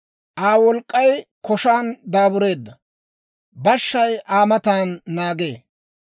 Aa wolk'k'ay koshaan daabureedda; bashshay Aa matan naagee.